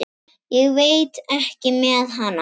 Ég veit ekki með hana.